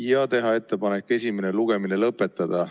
Ja teine, teha ettepanek esimene lugemine lõpetada.